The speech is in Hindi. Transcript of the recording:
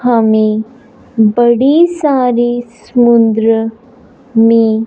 हमें बड़ी सारी समुद्र में --